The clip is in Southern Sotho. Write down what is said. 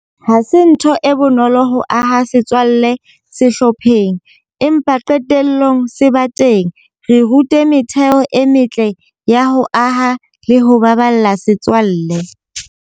Ha se ntho e bonolo ho aha setswalle sehlopheng. Empa qetelllong se ba teng. Re rute metheo e metle ya ho aha le ho baballa setswalle.